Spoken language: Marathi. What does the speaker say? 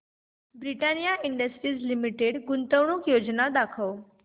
ब्रिटानिया इंडस्ट्रीज लिमिटेड गुंतवणूक योजना दाखव